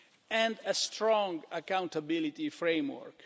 and a strong accountability framework.